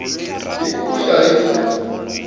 hi ku ya hi ku